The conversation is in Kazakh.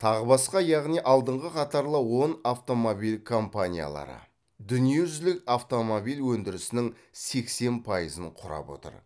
тағы басқа яғни алдыңғы қатарлы он автомобиль компаниялары дүние жүзілік автомобиль өндірісінің сексен пайызын құрап отыр